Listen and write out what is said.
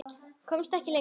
Komst ekki lengra.